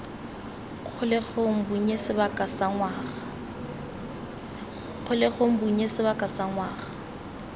kgolegelong bonnye sebaka sa ngwaga